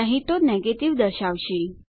નહી તો નેગેટિવ દર્શાવશે